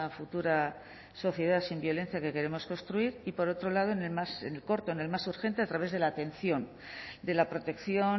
futura sociedad sin violencia que queremos construir y por otro lado en el más corto en el más urgente a través de la atención de la protección